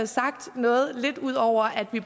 sagt noget lidt ud over at vi